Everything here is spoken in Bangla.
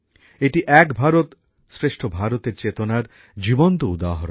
এটি এক ভারতশ্রেষ্ঠ ভারতএর চেতনার প্রাণবন্ত উদাহরণ